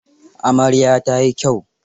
Amaryar ta yi kyau.